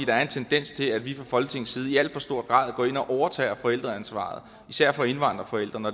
der er en tendens til at vi fra folketingets side i alt for stor grad går ind og overtager forældreansvaret især for indvandrerforældrene